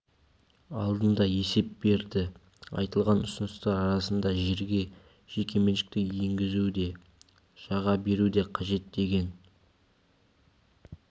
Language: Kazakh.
алдында есеп берді айтылған ұсыныстар арасында жерге жекеменшікті енгізу де жаға беру де қажет деген